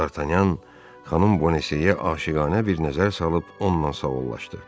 D'Artagnan xanım Bonacieux-yə aşiqanə bir nəzər salıb onunla sağollaşdı.